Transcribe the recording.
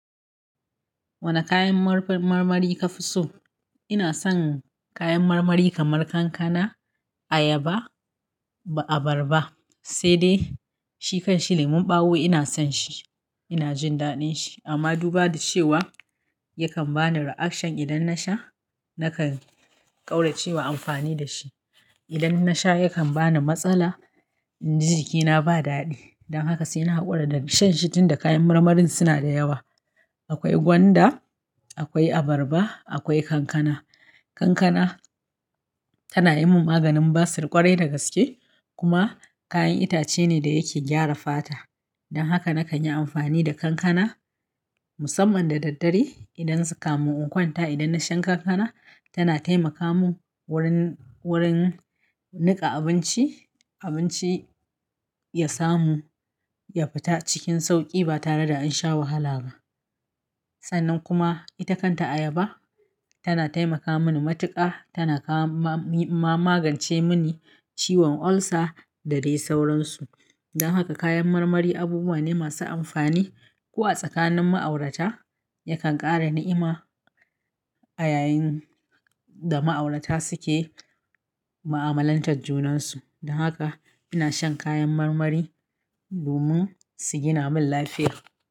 Wane kayan marmari ka fi so? Ina son kayan marmari kamar kankana, ayaba, abarba sai de, shi kan shi lemon ɓawo ina son shi, ina jin daɗin shi amma duba da cewa yakan bani reaction idan nasha nakan ƙaurace wa amfani da shi. Idan nasha yakan bani matsala inji jikina ba dadi. Dan haka sai na haƙura da shan shi tunda kayan marmarin suna da yawa. Akwai gwanda, akwai abarba, akwai kankana. Kankana, tana yi min maganin basir ƙwarai da gaske kuma kayan itace ne da yake gyara fata. Dan haka na kan yi amfani da kankana musamman da daddare idan suka mun unkwanta. Idan na sha kankana tana taimaka mun wurin, wurin niƙa abinci, abinci ya samu ya fita cikin sauƙi ba tare da an sha wahala ba. Sannan kuma ita kanta ayaba, tana taimaka mani matuƙa, tana kama ma-ma-magance mini ciwon ulcer da dai sauransu. Dan haka kayan marmari abubuwa ne masu amfani. Ko a tsakanin ma'aurata yakan ƙara ni'ima a yayin da ma'aurata suke ma'amalantar junansu. Dan haka ina shan kayan marmari domin su gina man lafiya.